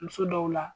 Muso dɔw la